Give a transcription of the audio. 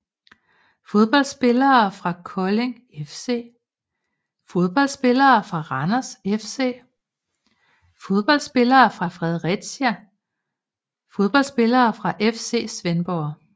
Fodboldspillere fra Kolding FC Fodboldspillere fra Randers FC Fodboldspillere fra FC Fredericia Fodboldspillere fra FC Svendborg